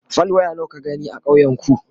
fal. waya nawa ka gani a ƙauyen ku?